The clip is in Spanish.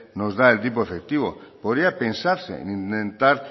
nos da el tipo efectivo podría pensarse en intentar